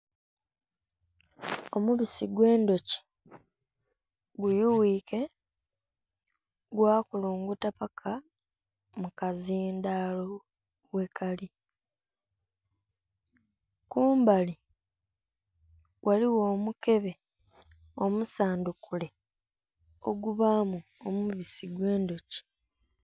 Omubisi gwe ndhoki gubyuyike gwa kulunguta paka mu kazindhalo ghe kali, kumbali ghaligho omukebe omusandhukule ogubamu omubisi gwe ndhoki.